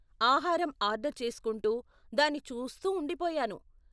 ఆహారం ఆర్డర్ చేస్కుంటూ, దాని చూస్తూ ఉండిపోయాను.